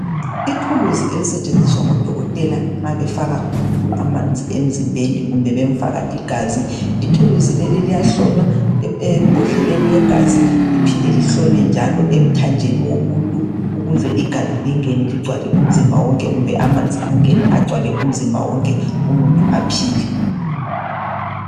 Ithuluzi elisetshenziswa ngodokotela nxa befaka umuntu amanzi emzimbeni kumbe bemfaka igazi. Ithuluzi leli liyahlonywa embodleleni yegazi liphinde lihlonywe njalo emthanjeni womuntu ukuze igazi lingene ligcwale umzimba wonke kumbe amanzi angene agcwale umzimba wonke umuntu aphile.